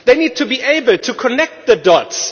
They need to be able to join the dots.